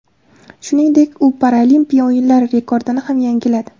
Shuningdek, u Paralimpiya o‘yinlari rekordini ham yangiladi.